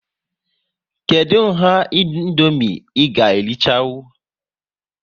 Kedụ nha Indomie ị ga erichanwu?